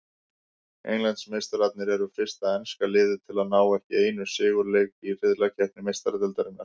Englandsmeistararnir eru fyrsta enska liðið til að ná ekki einu sigurleik í riðlakeppni Meistaradeildarinnar.